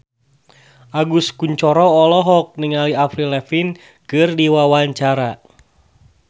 Agus Kuncoro olohok ningali Avril Lavigne keur diwawancara